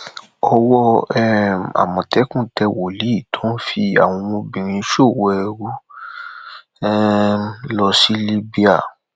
owó um àmọtẹkùn tẹ wòlíì tó ń fi àwọn ọmọbìnrin ṣòwò ẹrú um lọ sí libya